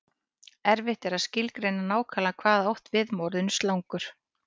Erfitt er að skilgreina nákvæmlega hvað átt er við með orðinu slangur.